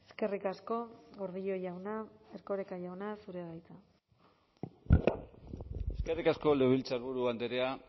eskerrik asko gordillo jauna erkoreka jauna zurea da hitza eskerrik asko legebiltzarburu andrea